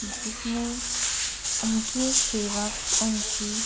जिसमें उनके सेवक उनकी --